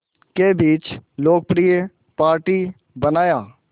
के बीच लोकप्रिय पार्टी बनाया